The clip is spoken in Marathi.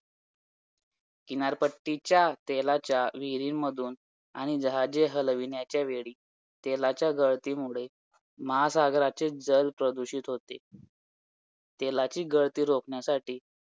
किनारपट्टीच्या तेलाच्या विहिरींमधून आणि जहाजे हलविण्याच्या वेळी तेलाच्या गळतीमुळे महासागराचे जल प्रदूषित होते. तेलाची गळती रोखण्यासाठी